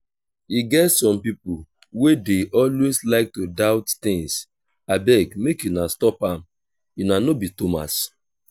e get some people wey dey always like to doubt things abeg make una stop am una no be thomas